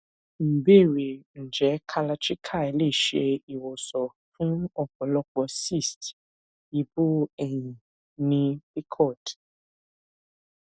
ìbéèrè nje kalarchikai le se iwosan fun ọpọlopo cyst ibu eyin ni pcod